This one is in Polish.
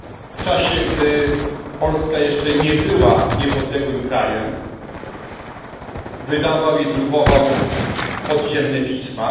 W czasie, gdy Polska jeszcze nie była niepodległym krajem wydawał i drukował podziemne pisma.